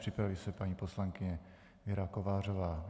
Připraví se paní poslankyně Věra Kovářová.